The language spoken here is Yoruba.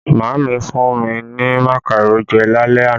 Maami fún mi ní makaro jẹ lálẹ́ àná